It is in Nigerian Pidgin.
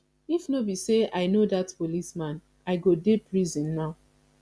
if no be say i no dat policeman i go dey prison now